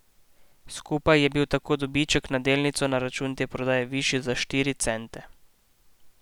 Skupaj je bil tako dobiček na delnico na račun te prodaje višji za štiri cente.